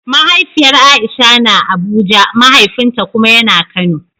Mahaifiyar Aisha na Abuja, mahaifinta kuma ya na Kano.